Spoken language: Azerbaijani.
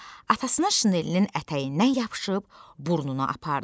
Atasının şinelinin ətəyindən yapışıb burnuna apardı.